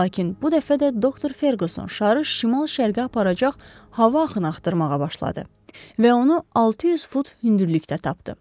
Lakin bu dəfə də doktor Ferquson şarı şimal-şərqə aparacaq hava axını axtarmağa başladı və onu 600 fut hündürlükdə tapdı.